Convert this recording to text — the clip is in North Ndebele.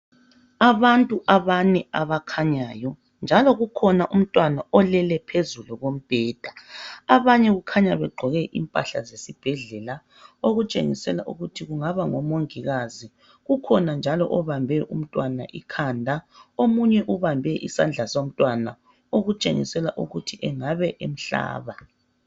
Abantu abane abakhanyayo njalo kukhona umntwana olele phezulu kombheda abanye kukhanya begqoke impahla zesibhedlela okutshengisela ukuthi kungaba ngomongikazi kukhona njalo obambe umntwana ikhanda omunye ubambe isandla somntwana okutshengisela ukuthi engabe emhlaba.